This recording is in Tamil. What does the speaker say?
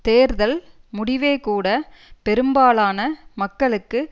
தேர்தல் முடிவே கூட பெரும்பாலான மக்களுக்கு